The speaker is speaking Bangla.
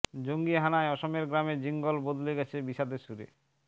জঙ্গি হানায় অসমের গ্রামে জিঙ্গল বদলে গেছে বিষাদের সুরে